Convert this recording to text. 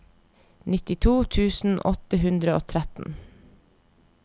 nittito tusen åtte hundre og tretten